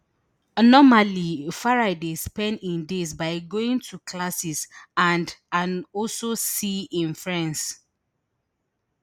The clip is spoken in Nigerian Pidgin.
normally farai dey spend im days by going to classes and and also see im friends